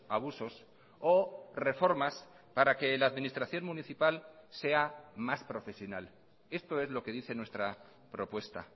abusos o reformas para que la administración municipal sea más profesional esto es lo que dice nuestra propuesta